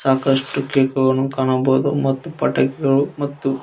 ಸಾಕಷ್ಟು ಕೇಕುಗಳನ್ನು ಕಾಣಬಹುದು ಮತ್ತು ಪಟಾಕಿಗಳು ಮತ್ತು--